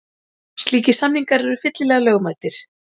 Slíkir samningar eru fyllilega lögmætir.